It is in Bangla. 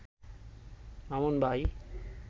মামুন ভাই